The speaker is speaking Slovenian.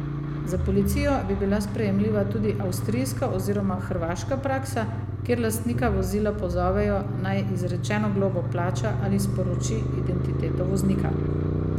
Za policijo bi bila sprejemljiva tudi avstrijska oziroma hrvaška praksa, kjer lastnika vozila pozovejo, naj izrečeno globo plača ali sporoči identiteto voznika.